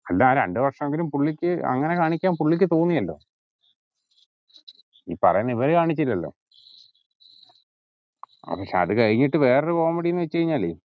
അല്ല ആ രണ്ട് വര്ഷെങ്കിലും പുള്ളിക്ക് അങ്ങന കാണിക്കാന് പുള്ളിക്ക് തോന്നിയല്ലോ ഈ പറയുന്ന ഇവര് കാണിച്ചിലല്ലോ പക്ഷെ അത് കഴിഞ്ഞിട്ട് വേറൊരു comedy ന്നു വെച്ചുകയിഞ്ഞാല്